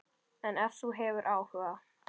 En ef þú hefur áhuga.